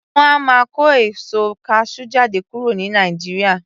Wọn a máa kó èso kasú jáde kúrò ní Nàìjíríà